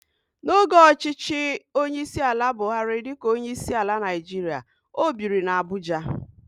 N'oge ọchịchị onyeisiala Buhari dịka onyeisiala Naịjirịa, o biri n'Abuja.